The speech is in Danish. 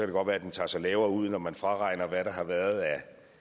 det godt være den tager sig lavere ud når man fraregner hvad der har været af